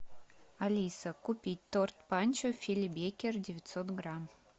алиса купить торт панчо фили бейкер девятьсот грамм